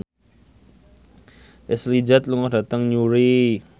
Ashley Judd lunga dhateng Newry